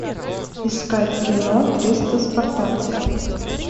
искать кино триста спартанцев